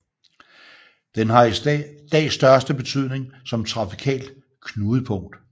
Den har i dag størst betydning som trafikalt knudepunkt